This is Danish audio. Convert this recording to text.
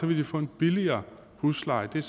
vil de få en billigere husleje det